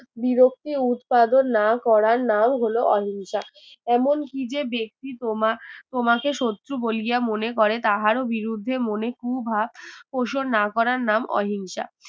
বিরক্তি উৎপাদন না করার নাম হলো অহিংসা এমন কি যে ব্যক্তি তোমা তোমাকে শত্রু বলিয়া মনে করে তাহারও বিরুদ্ধে মনে কুভাব কৌশল না করার নাম অহিংসা